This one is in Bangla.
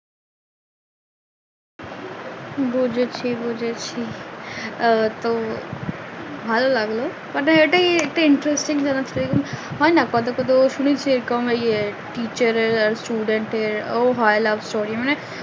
বুঝেছি বুঝেছি আমার তো ভালো লাগলো but এটাই একটা interesting যেন হয় না কোথাও কোথাও শুনেছি এরকম teacher আর student এর ও হয় love story মানে